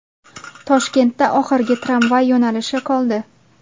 Toshkentda oxirgi tramvay yo‘nalishi qoldi.